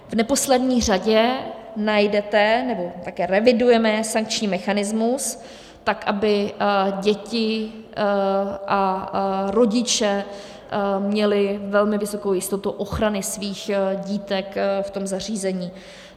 V neposlední řadě najdete, nebo také revidujeme sankční mechanismus tak, aby děti a rodiče měli velmi vysokou jistotu ochrany svých dítek v tom zařízení.